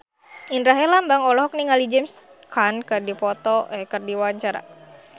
Indra Herlambang olohok ningali James Caan keur diwawancara